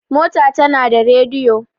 mota tana da rediyo